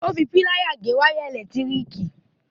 Ó fi pláyà náà gé wáyà ẹ̀lẹ̀tíríkì.